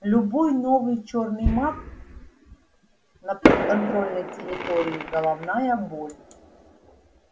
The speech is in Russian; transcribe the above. любой новый чёрный маг на подконтрольной территории головная боль